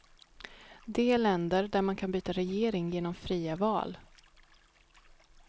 De är länder där man kan byta regering genom fria val.